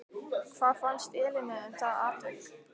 Hvað fannst Elínu um það atvik?